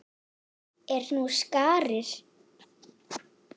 Er nú skarð fyrir skildi.